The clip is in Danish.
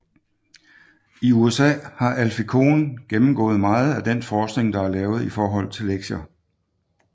I USA har Alfie Kohn gennemgået meget af den forskning der er lavet i forhold til lektier